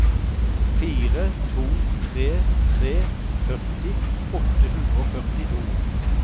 fire to tre tre førti åtte hundre og førtito